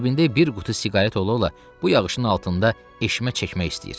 Cibində bir qutu siqaret ola-ola bu yağışın altında eşmə çəkmək istəyir."